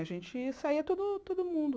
A gente saía todo todo mundo.